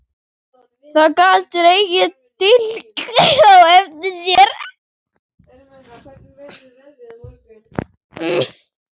Það gat dregið dilk á eftir sér.